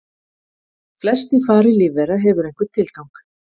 Flest í fari lífvera hefur einhvern tilgang.